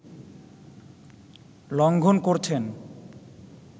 লঙ্ঘন করছেন